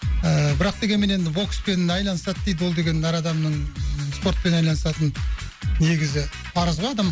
ііі бірақ дегенмен енді бокспен айналысады дейді ол деген әр адамның спортпен айналысатын негізі парызы ғой адам